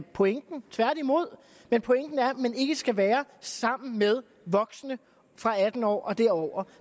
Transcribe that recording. pointen tværtimod men pointen er at man ikke skal være sammen med voksne fra atten år og derover